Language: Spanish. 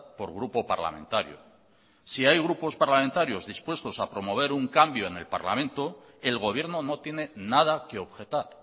por grupo parlamentario si hay grupos parlamentarios dispuestos a promover un cambio en el parlamento el gobierno no tiene nada que objetar